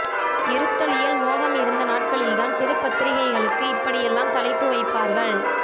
இருத்தலியல் மோகம் இருந்த நாட்களில்தான் சிறு பத்திரிகைகளுக்கு இப்படியெல்லாம் தலைப்பு வைப்பார்கள்